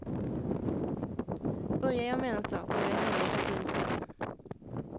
Börjar jag med en sak går jag helhjärtat in för det.